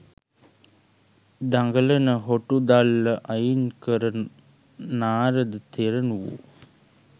දඟලන හොටු දල්ල අයින් කළ නාරද තෙරණුවෝ